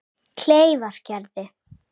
Kleifargerði